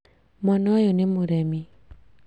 Mwana ũyũ nĩ mũremi